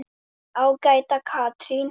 Ágæta Katrín.